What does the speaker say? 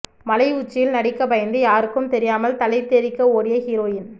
மலை உச்சியில் நடிக்க பயந்து யாருக்கும் தெரியாமல் தலைதெறிக்க ஓடிய ஹீரோயின்